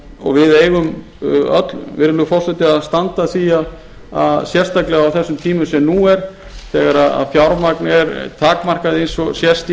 og við eigum öll virðulegi forseti að standa að því sérstaklega á þessum tímum sem nú er þegar fjármagnið er takmarkað eins og sést